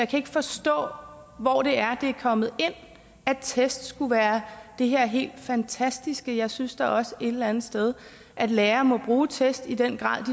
kan ikke forstå hvor det er det er kommet ind at test skulle være det her helt fantastiske jeg synes da også et eller andet sted at lærere må bruge test i den grad